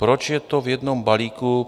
Proč je to v jednom balíku?